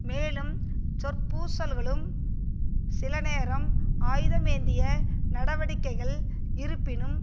மேலும் சொற்பூச்சல்களும் சில நேரம் ஆயுதமேந்திய நடவடிக்கைகள் இருப்பினும்